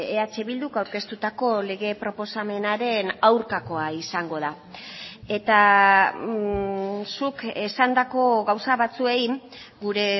eh bilduk aurkeztutako lege proposamenaren aurkakoa izango da eta zuk esandako gauza batzuei gure